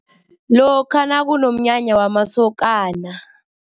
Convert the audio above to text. Lokha nakunomnyanya wamasokana.